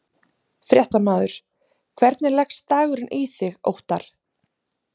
Fréttamaður: Hvernig leggst dagurinn í þig Óttarr?